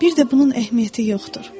Bir də bunun əhəmiyyəti yoxdur.